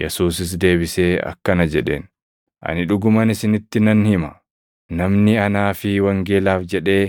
Yesuusis deebisee akkana jedheen; “Ani dhuguma isinitti nan hima; namni anaa fi wangeelaaf jedhee